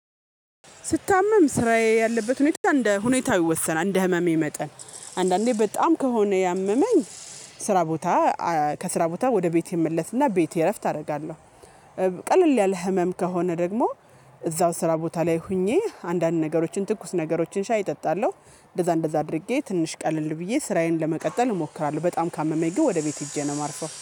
ስታመም ስራዬ ያለበት ሁኔታ እንደ ሁኔታ ይወሰናል እንደ ህመሜ መጠን አንዳንዴ በጣም ከሆነ ያመመኝ ስራ ቦታ ከስራ ቦታ ወደ ቤቴ እመለስ እና ቤቴ እረፍት አደርጋለሁ። ቀለል ያለ ህመም ከሆነ ደግሞ እዛው ስራ ቦታ ላይ ሆኜ አንዳንድ ነገሮችን ትኩስ ነገሮችን ሻይ እጠጣለሁ እንደዛ እንደዛ አድርጌ ትንሽ ቀለል ብዬ ስራዬን ለመቀጠል እሞክራለሁ። በጣም ካመመኝ ግን ወደ ቤት ሄጄ ነው ማርፈው